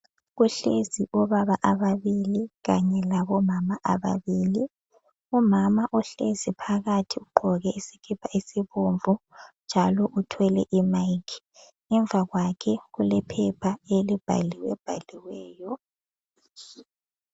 Kuhlezi obaba ababili kanye labomama ababili. Umama ohlezi phakathi ugqoke isikipa esibomvu njalo uthwele imayikhi . Ngemva kwakhe kulephepha elibhaliwebhaliweyo.